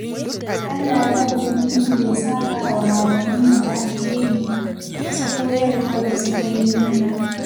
Allah ya ubangiji ya sakawa malamanmu da alheri, bisa koyarwar da suka yi mana.